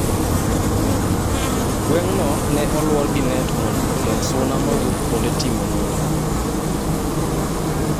Gweng' no ne olwor gi net mondo ogeng' suna maowuok kuonde timo nonro.